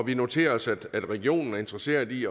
vi noterer os at regionen er interesseret i